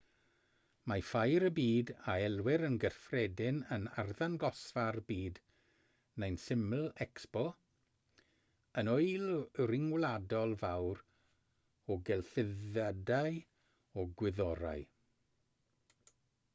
mae ffair y byd a elwir yn gyffredin yn arddangosfa'r byd neu'n syml expo yn ŵyl ryngwladol fawr o gelfyddydau a gwyddorau